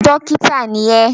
Dọ́kítá ni ẹ́!